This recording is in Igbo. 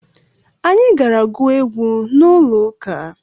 Anyị gara gụọ egwu n'ụlọụka